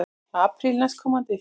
Apríl næstkomandi.